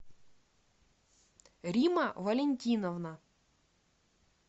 римма валентиновна